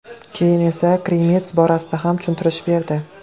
Keyin esa Krimets borasida ham tushuntirish berdi.